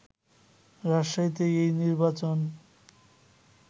রাজশাহীতে এই নির্বাচন